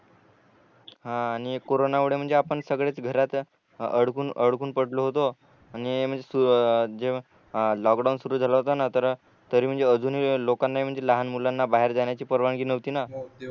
हा आणि कोरोना मुळे म्हणजे आपण सगळेच घरात अडकून अडकून पडलो होतो आणि जेव्हा लाॅकडाउन सुरु झाला होता ना तर तरी म्हणजे अजूनही लोकांना म्हणजे लहान मुलांना बाहेर जाण्याची परवानगी नव्हती न